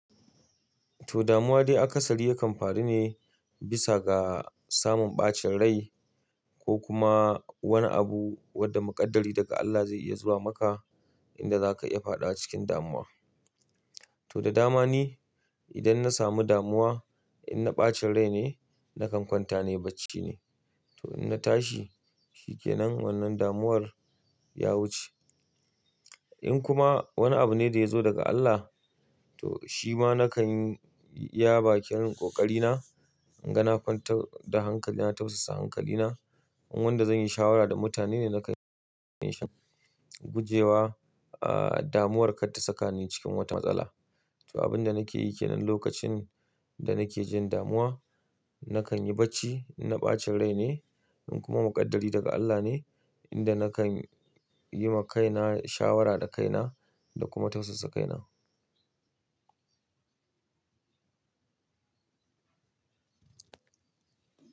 To, damuwa de a kasari yakan faru ne bisa ga samun ɓacin rai ko kuma wani abu wadda muƙaddari daga Allah ze iya zuwa maka inda za ka iya fadawa cikin damuwa. To, da dama ne idan na samu damuwa, in na ɓacin rai ne nakan kwanta ne bacci ne. To, in na tashi shikenan wannan damuwar ya wuce. In kuma wani abu ne da ya zo daga Allah, to shi ma nakan yi iya bakin ƙoƙari na, inga na kwantar da hankali, na tausasa hankali na. In wanda zan yi shawara da mutane ne nakan shan gujewa, ah, damuwar kar ta saka ni cikin wata matsala. To, abin da nake yi ke nan lokacin da nake jin damuwa, nakan yi bacci in na ɓacin rai ne. In kuma muƙaddari daga Allah ne, inda nakan yi ma kaina shawara da kaina da kuma tausasa kaina.